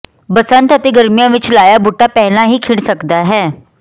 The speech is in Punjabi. ਬਸੰਤ ਅਤੇ ਗਰਮੀਆਂ ਵਿੱਚ ਲਾਇਆ ਬੂਟਾ ਪਹਿਲਾਂ ਹੀ ਖਿੜ ਸਕਦਾ ਹੈ